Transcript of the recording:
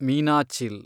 Meenachil